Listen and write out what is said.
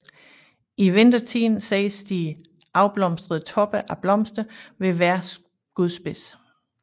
I vintertiden ses de afblomstrede toppe af blomster ved hver skudspids